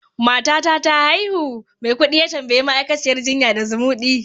matata ta haihu? Maikudi ya tambayi ma'aikaciyar jinya da zumudi